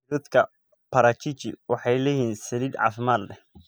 Miroodhka parachichi waxay leeyihiin saliid caafimaad leh.